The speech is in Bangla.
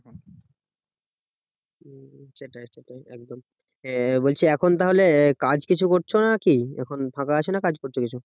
সেটাই সেটাই একদম আহ বলছি এখন তাহলে কাজ কিছু করছো নাকি এখন ফাঁকা আছো না কাজ করছো কিছু